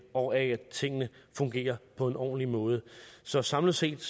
og af at tingene fungerer på en ordentlig måde så samlet set